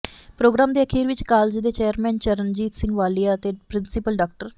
programme ਦੇ ਅਖੀਰ ਵਿੱਚ ਕਾਲਜ ਦੇ ਚੇਅਰਮੈਨ ਚਰਨਜੀਤ ਸਿੰਘ ਵਾਲੀਆ ਅਤੇ ਪ੍ਰਿੰਸੀਪਲ ਡਾ